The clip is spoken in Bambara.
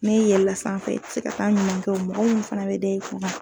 N'i yɛɛla sanfɛ se ka taa'a ɲininka o mɔgɔ mun fɛnɛ be da i kun ŋan